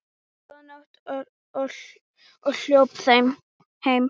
Góða nótt og hljóp heim.